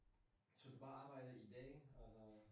Så du bare arbejder i dag og?